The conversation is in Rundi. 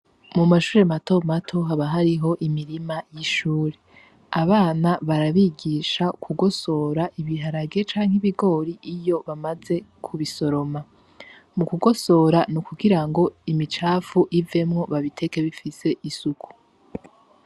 Mu mashuri mato mato haba hariho imirima y'ishure abana barabigisha kugosora ibiharagie canke ibigori iyo bamaze ku bisoroma. Mu kugosora ni ukugira ngo imicapfu ivemwo babiteke bifise isuku.